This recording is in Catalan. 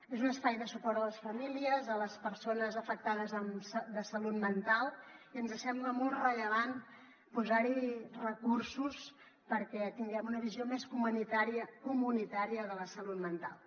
és un espai de suport a les famílies a les persones afectades de salut mental i ens sembla molt rellevant posar hi recursos perquè tinguem una visió més comunitària de la salut mental